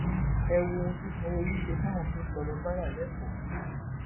ẹ wo ohun tí sanwóolu ṣe fáwọn tó ń tọrọ báárà lẹkọọ